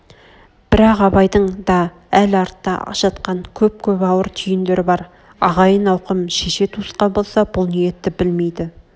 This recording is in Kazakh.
бірақ абайдың да әл артта жатқан көп-көп ауыр түйндер бар ағайын-ауқым шеше-туысқан болса бұл ниетті білмейді